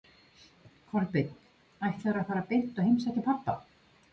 Kolbeinn: Ætlarðu að fara beint og heimsækja pabba?